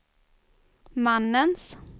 mannens